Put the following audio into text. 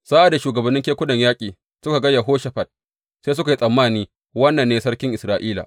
Sa’ad da shugabannin kekunan yaƙi suka ga Yehoshafat, sai suka yi tsammani, Wannan ne sarkin Isra’ila.